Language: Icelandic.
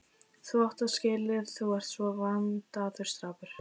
Þú átt það skilið, þú ert svo vandaður strákur.